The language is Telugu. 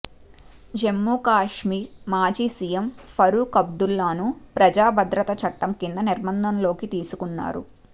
జమ్ము కశ్మీర్ మాజీ సీఎం ఫరూక్ అబ్దుల్లాను ప్రజా భద్రత చట్టం కింద నిర్బంధంలోకి తీసుకున్నారు